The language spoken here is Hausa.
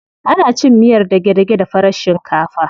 Ana cin miyar dage-dage da farar shinkafa.